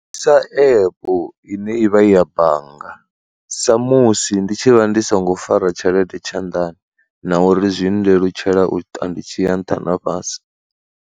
Sa epu ine ivha i ya bannga, sa musi ndi tshi vha ndi songo fara tshelede tshanḓani na uri zwi nndelutshela uita ndi tshiya nṱha na fhasi.